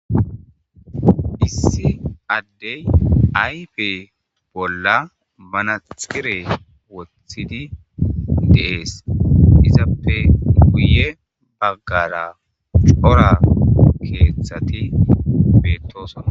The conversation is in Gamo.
Issi addey ayfe bolla manaxxire wothidi de7ees. Izappe guye baggaara cora keethati beettoosona.